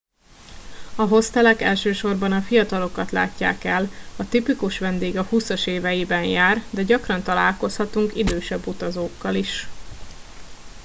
a hostelek elsősorban a fiatalokat látják el a tipikus vendég a húszas éveiben jár de gyakran találkozhatunk idősebb utazókkal is